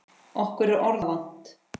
Okkur er orða vant.